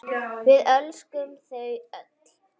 Við elskum þau öll.